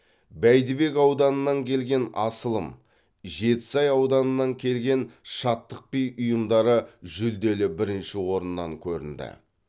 бәйдібек ауданынан келген асылым жетісай ауданынан келген шаттық би ұжымдары жүлделі бірінші орыннан көрінді